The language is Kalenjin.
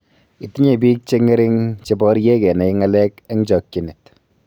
Itinye pik che ng'ering' che porie kenai ng'alek eng' chakchinet